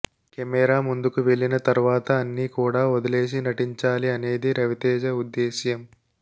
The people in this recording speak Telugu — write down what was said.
కెమెరా ముందుకు వెళ్లిన తర్వాత అన్ని కూడా వదిలేసి నటించాలి అనేది రవితేజ ఉద్దేశ్యం